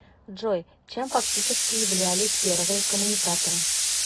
джой чем фактически являлись первые коммуникаторы